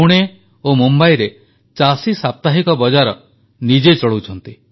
ପୁଣେ ଓ ମୁମ୍ବାଇରେ ଚାଷୀ ସାପ୍ତାହିକ ବଜାର ନିଜେ ଚଳାଉଛନ୍ତି